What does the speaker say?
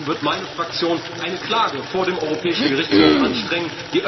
Deswegen wird meine Fraktion eine Klage vor dem Europäischen Gerichtshof anstrengen.